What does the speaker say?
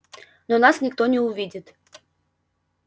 но нас никто не увидит